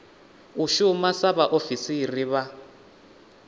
u shuma sa vhaofisiri vha